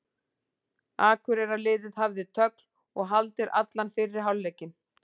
Akureyrarliðið hafði tögl og haldir allan fyrri hálfleikinn.